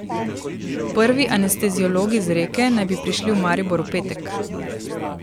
Prvi anesteziologi z Reke naj bi prišli v Maribor v petek.